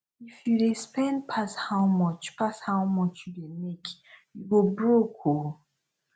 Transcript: if you dey spend pass how much pass how much you dey make you go broke oo